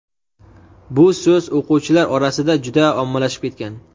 bu so‘z o‘quvchilar orasida juda ommalashib ketgan.